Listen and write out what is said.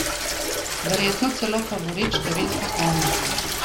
Verjetno celo favorit številka ena.